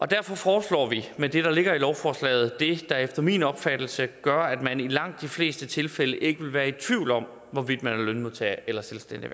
derfor foreslår vi med det der ligger i lovforslaget det der efter min opfattelse gør at man i langt de fleste tilfælde ikke vil være i tvivl om hvorvidt man er lønmodtager eller selvstændig